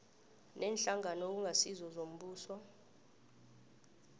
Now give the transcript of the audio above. neenhlangano okungasizo zombuso